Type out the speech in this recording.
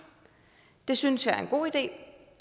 det synes jeg er en god idé